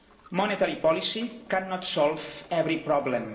monetary policy cannot solve every problem.